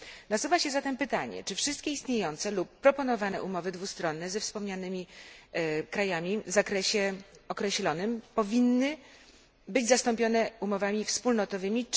Nasuwa się zatem pytanie, czy wszystkie istniejące lub proponowane umowy dwustronne ze wspomnianymi krajami w określonym zakresie powinny być zastąpione umowami wspólnotowymi.